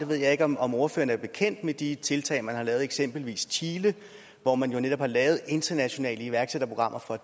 ved ikke om om ordføreren er bekendt med de tiltag man har lavet i eksempelvis chile hvor man netop har lavet internationale iværksætterprogrammer for